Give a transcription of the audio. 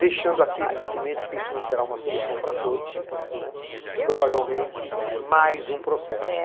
Deixando aqui, evidentemente, porque isso não será uma solução para todos, provavelmente mais um processo